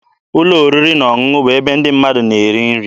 Ụlọ oriri na ọṅụṅụ bụ ebe ndị mmadụ na-eri nri.